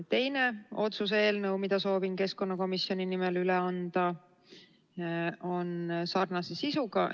Teine otsuse eelnõu, mille soovin keskkonnakomisjoni nimel üle anda, on sarnase sisuga.